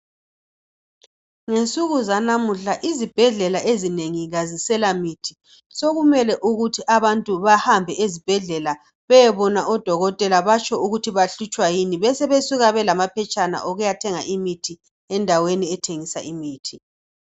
Ngensuku zanamuhla isibhedlela ezi nengi azisela mithi. Sokumele ukuthi abantu bahambe ezibhedlela beyebona odokotela batsho ukuthi bahlutshwa yini, besebesuka belamaphetshana okuyathena imithi , endaweni ethengisa imithi.